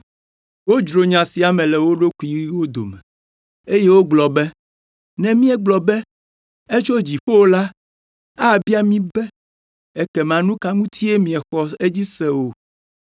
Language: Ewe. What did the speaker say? Wodzro nya sia me le wo ɖokuiwo dome, eye wogblɔ be, “Ne míegblɔ be, ‘Etso dziƒo’ la, abia mí be, ‘Ekema nu ka ŋutie miexɔ edzi se o?’